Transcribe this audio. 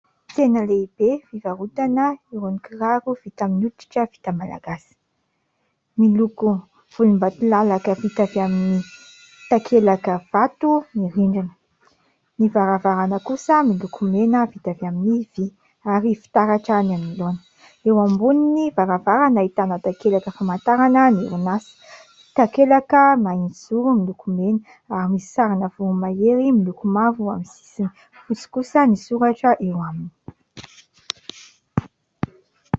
Tsena lehibe fivarotana irony kiraro vita amin'ny hotritra vita malagasy, miloko volom-batolalaka vita avy amin'ny takelaka vato ny rindrina, ny varavarana kosa miloko mena vita avy amin'ny vy ary fitaratra ny anoloana, eo amboniny varavarana ahitana takelaka famantarana ny orinasa, takelaka mahitsy zoro miloko mena ary misy sarina voromahery miloko mavo amin'ny sisiny, fotsy kosa ny soratra eo aminy.